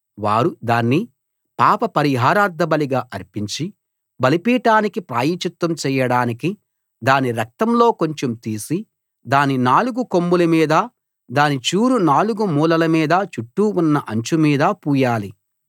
వారు దాన్ని పాప పరిహారార్థబలిగా అర్పించి బలిపీఠానికి ప్రాయశ్చిత్తం చేయడానికి దాని రక్తంలో కొంచెం తీసి దాని నాలుగు కొమ్ముల మీదా దాని చూరు నాలుగు మూలల మీదా చుట్టూ ఉన్న అంచు మీదా పూయాలి